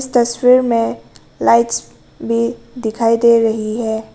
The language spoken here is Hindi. तस्वीर में लाइट्स भी दिखाई दे रही है।